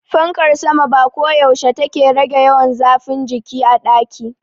Fankar sama ba koyaushe take rage yawan zafin jiki a daki.